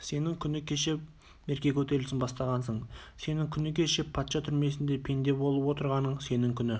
сенің күні кеше мерке көтерілісін бастағаның сенің күні кеше патша түрмесінде пенде болып отырғаның сенің күні